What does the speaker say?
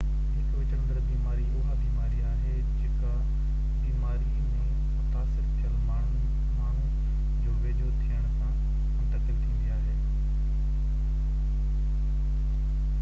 هڪ وچڙندڙ بيماري اها بيماري آهي جيڪا بيماري ۾ متاثر ٿيل ماڻهو جي ويجهو ٿيڻ سان منتقل ٿيندي آهي